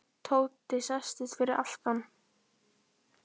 Tóti settist fyrir aftan.